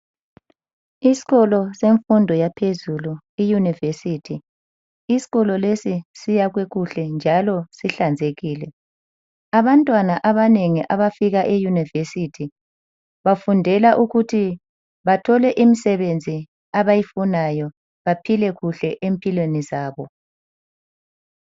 Isikolo semfundo yaphezulu i yunivesithi, isikolo lesi siyakhwe kuhle njalo sihlanzekile. Abantwana abanengi abafika eyunivesithi bafundela ukuthi bathole imsebenzi abayifunayo baphile kuhle empilweni zabo.